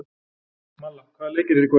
Malla, hvaða leikir eru í kvöld?